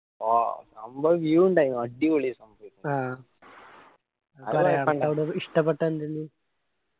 ആ നല്ല view ഇന്ടായിനു അടിപൊളി ആയിന് ആ .